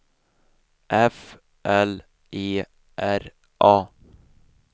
F L E R A